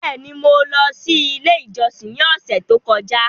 Bẹẹni, Mo lọ si ile ijọsin ni ọsẹ to kọja